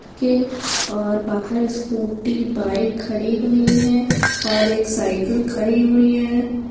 की बाहर scooty bike खड़ी हुई है और एक साईकल खड़ी हुई है।